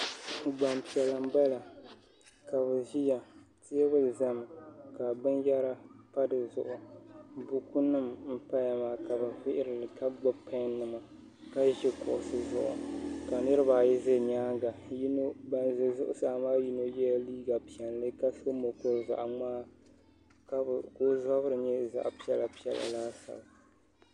Gbampiɛla m-bala ka bɛ ʒiya teebuli zami bɛ zaŋ binyɛra pa di zuɣu bukunima m-paya maa ka bɛ vihiri li ka bɛ gbubi pɛnnima ka ʒi kuɣusi zuɣu ka niriba ayi za nyaaŋa ŋun za zuɣusaa maa yɛla liiga piɛlli ka so mɔkuru zaɣ' ŋmaa ka bɛ zabiri nyɛ zaɣ' piɛkapiɛla laasabu